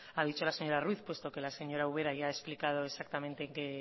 ha dicho la señor ruiz porque la señora ubera ya ha explicado exactamente en qué